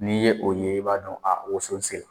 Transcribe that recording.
N'i ye o ye i b'a dɔn a woso se la.